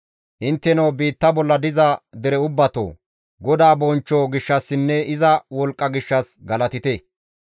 Intteno biitta bolla diza dere ubbatoo! GODAA bonchcho gishshassinne iza wolqqa gishshas galatite.